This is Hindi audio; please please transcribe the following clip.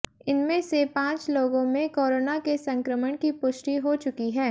इनमें से पांच लोगों में कोरोना के संक्रमण की पुष्टि हो चुकी है